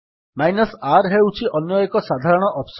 r ହେଉଛି ଅନ୍ୟ ଏକ ସାଧାରଣ ଅପ୍ସନ୍